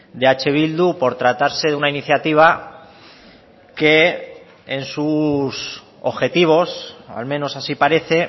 de eh bildu por tratarse de una iniciativa que en sus objetivos al menos así parece